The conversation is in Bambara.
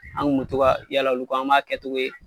An kun mu to ka yala olu kɔ, an m'a kɛcogo ye